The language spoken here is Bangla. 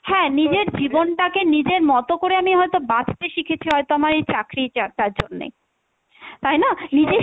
হ্যাঁ নিজের জীবনটাকে নিজের মত করে হয়তো আমি বাঁচতে শিখেছি হয়তো আমার এই চাকরিটা টার জন্যে, তাই না? নিজের